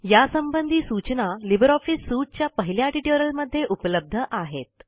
यासंबंधी सूचना Libre Office suite च्या पहिल्या ट्युटोरियलमध्ये उपलब्ध आहेत